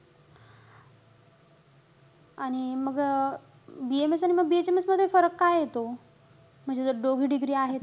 आणि मग BMS आणि BHMS मध्ये फरक का येतो? म्हणजे जर दोघी degree आहे.